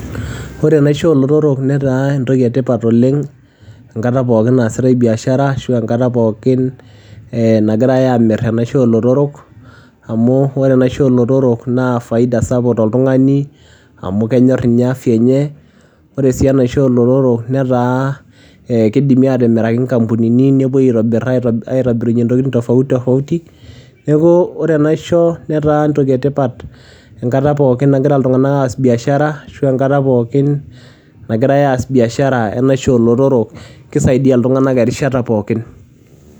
Ore enaishoo oo lotorok netaa entoki etipat oleng enkata pookin naasita biashara ashu enkata pookin naagirai amir enaishoo oo lotorok amu ore enaishoo oo lotorok naa faida sapuk too oltung'ani amu kenyor ninye afya enye ore sii enaishoo oo lotorok netaa kidimi atimiraki nkampunini nepuoi aitobirie ntokitin tofautitofauti neeku ore enaishoo netaa entoki etipat enkata nagira iltung'ana aas biashara ashu enkata pookin naagirai aas biashara enaishoo oo lotorok kisaidia iltung'ana enkata pookin